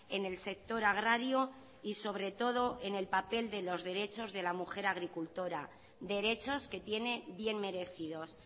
en el sector agrario y sobre todo en el papel de los derechos de la mujer agricultora derechos que tiene bien merecidos